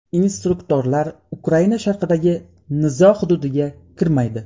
Instruktorlar Ukraina sharqidagi nizo hududiga kirmaydi.